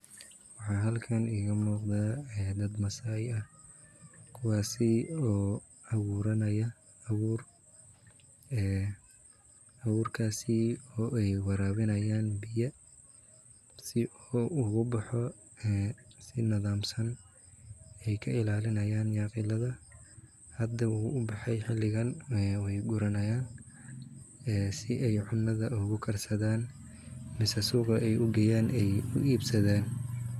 Waxa halkan iga muuqda dad maasai ah kuwaasi oo abuuranaya abuur en abuurkasi oy warabinayan biya si uu ugu boxo si nidamsan ay ka illalinayan nyaqilada hada wuu ubaxay xilingan way guranayan si ay cunada ogu karsadan ama suqa ay ugeyaan ay u ibsadan